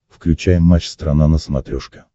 включай матч страна на смотрешке